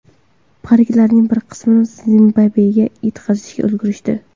Pariklarning bir qismini Zimbabvega yetkazishga ulgurishdi.